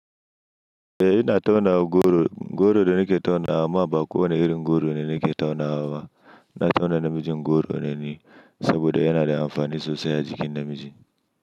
Eh ina tauna goro. Goro da nake taunawa ba kowane irin goro ne nake taunawa ba. Ina tauna namijin goro neni saboda yana da amfani sosai a jikin namiji.